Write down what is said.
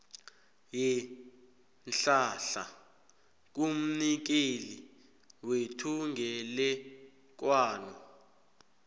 yeenhlahla kumnikeli wethungelelwano